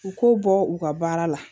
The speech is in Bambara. U k'u bɔ u ka baara la